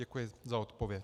Děkuji za odpověď.